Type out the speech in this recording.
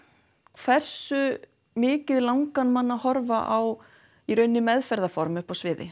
hversu mikið langar mann að horfa á í raun meðferðarform uppi á sviði